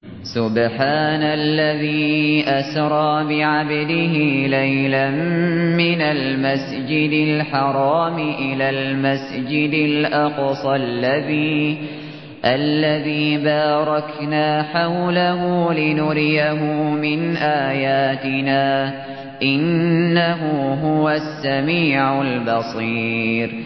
سُبْحَانَ الَّذِي أَسْرَىٰ بِعَبْدِهِ لَيْلًا مِّنَ الْمَسْجِدِ الْحَرَامِ إِلَى الْمَسْجِدِ الْأَقْصَى الَّذِي بَارَكْنَا حَوْلَهُ لِنُرِيَهُ مِنْ آيَاتِنَا ۚ إِنَّهُ هُوَ السَّمِيعُ الْبَصِيرُ